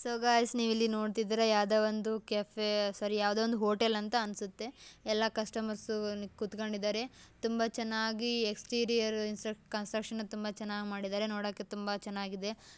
So guys ನೀವಿಲ್ಲಿ ನೋಡ್ತಿದ್ದೀರಾ ಯಾವುದೊ ಒಂದು ಕೆಫೆ ಸಾರೀ ಯಾವುದೋ ಒಂದು ಹೋಟೆಲ್ ಅಂತ ಅನ್ಸುತ್ತೆ ಎಲ್ಲ ಕಸ್ಟಮರ್ಸ್ ಕೂತ್ಕೊಂಡಿದ್ದಾರೆ. ತುಂಬಾ ಚೆನ್ನಾಗಿ ಎಸ್ಟ್ರಿಯೋರ್ ಕನ್ಸ್ಟ್ರಕ್ಷನ್ ತುಂಬಾ ಚೆನ್ನಾಗಿ ಮಾಡಿದ್ದಾರೆ ನೋಡೋಕೆ ತುಂಬಾ ಚೆನ್ನಾಗಿದೆ.